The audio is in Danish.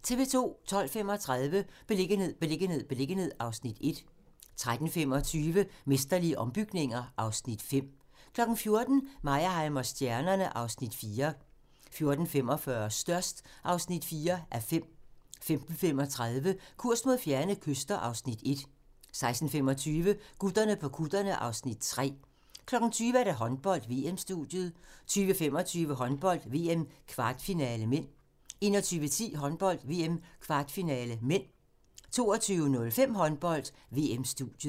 12:35: Beliggenhed, beliggenhed, beliggenhed (Afs. 1) 13:25: Mesterlige ombygninger (Afs. 5) 14:00: Meyerheim & stjernerne (Afs. 4) 14:45: Størst (4:5) 15:35: Kurs mod fjerne kyster (Afs. 1) 16:25: Gutterne på kutterne (Afs. 3) 20:00: Håndbold: VM-studiet 20:25: Håndbold: VM - kvartfinale (m) 21:10: Håndbold: VM - kvartfinale (m) 22:05: Håndbold: VM-studiet